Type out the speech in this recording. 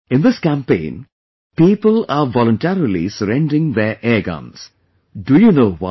In this campaign, people are voluntarily surrendering their airguns Do you know why